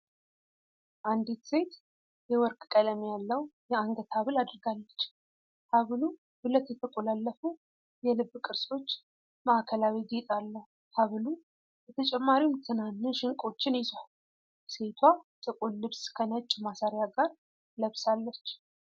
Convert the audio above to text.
አንዲት ሴት የወርቅ ቀለም ያለው የአንገት ሐብል አድርጋለች። ሐብሉ ሁለት የተቆላለፉ የልብ ቅርጾች ማዕከላዊ ጌጥ አለው። ሐብሉ በተጨማሪም ትናንሽ ዕንቆችን ይዟል። ሴቷ ጥቁር ልብስ ከነጭ ማሰሪያ ጋር ለብሳለች።